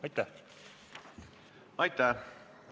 Aitäh!